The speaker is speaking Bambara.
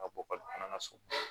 Ka bɔ ka na so